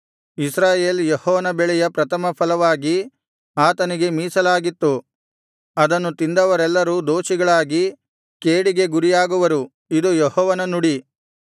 ಇಸ್ರಾಯೇಲ್ ಯೆಹೋವನ ಬೆಳೆಯ ಪ್ರಥಮಫಲವಾಗಿ ಆತನಿಗೆ ಮೀಸಲಾಗಿತ್ತು ಅದನ್ನು ತಿಂದವರೆಲ್ಲರೂ ದೋಷಿಗಳಾಗಿ ಕೇಡಿಗೆ ಗುರಿಯಾಗುವ ಇದು ಯೆಹೋವನು ನುಡಿ